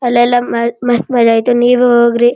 ಅಲ್ಲೆಲ್ಲ ಮಸ್ತ್ ಮ್ಮರ ಅಯ್ತ್ರಿ ನೀವೇ ಹೋಗ್ರಿ --